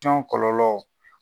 cɔn kɔlɔlɔw.